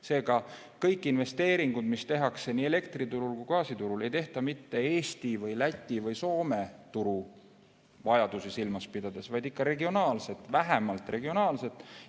Seega kõik investeeringud, mis tehakse nii elektriturul kui gaasiturul, ei tehta mitte Eesti või Läti või Soome turu vajadusi silmas pidades, vaid ikka regionaalset, vähemalt regionaalset vajadust.